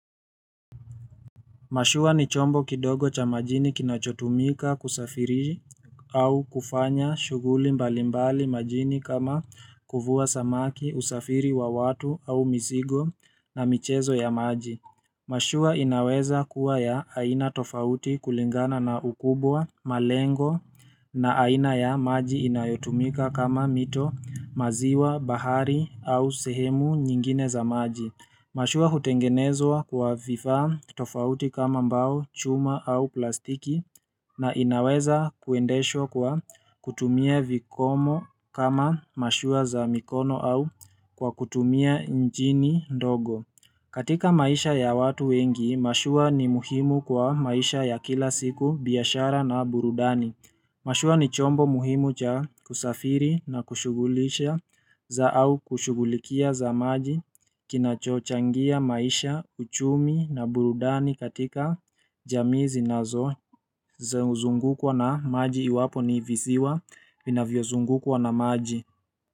Mashua ni chombo kidogo cha majini kinachotumika kusafiri au kufanya shuguli mbalimbali majini kama kuvua samaki usafiri wa watu au mizigo na michezo ya maji. Mashua inaweza kuwa ya aina tofauti kulingana na ukubwa, malengo na aina ya maji inayotumika kama mito, maziwa, bahari au sehemu nyingine za maji. Mashua hutengenezwa kwa vifaa tofauti kama mbao, chuma au plastiki na inaweza kuendeshwa kwa kutumia vikomo kama mashua za mikono au kwa kutumia njini ndogo. Katika maisha ya watu wengi, mashua ni muhimu kwa maisha ya kila siku biashara na burudani. Mashua ni chombo muhimu cha kusafiri na kushugulisha za au kushugulikia za maji kinachochangia maisha, uchumi na burudani katika jamii zinazo za uzungukwa na maji iwapo ni visiwa vinavyozungukwa na maji.